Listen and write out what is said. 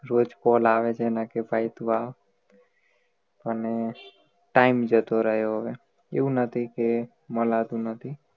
રોજ call આવે છે એના કે ભાઈ તું આવ પણ હુ time જતો રહ્યો હવે એવું નથી કે મલાતું નથી